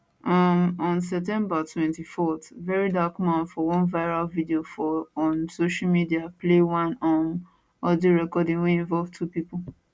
um on september 24 verydarkblackman for one viral video for on social media play one um audio recording wey involve two pipo